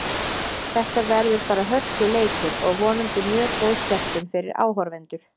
Þetta verður bara hörkuleikur og vonandi mjög góð skemmtun fyrir áhorfendur.